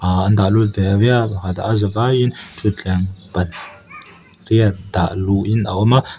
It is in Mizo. ah an dah lut veve a pakhat a za vaiin thuthleng pat riat dah luh in a awm a.